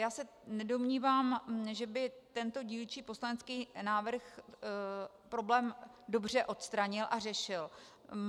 Já se nedomnívám, že by tento dílčí poslanecký návrh problém dobře odstranil a řešil.